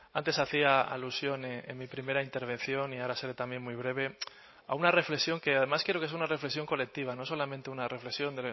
antes hacía alusión en mi primera intervención y ahora seré también muy breve a una reflexión que además creo que es una reflexión colectiva no solamente una reflexión